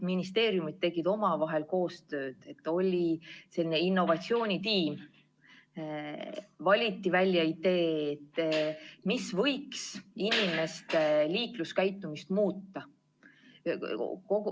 Ministeeriumid tegid omavahel koostööd, oli selline innovatsioonitiim, valiti välja idee, mis võiks inimeste liikluskäitumist muuta.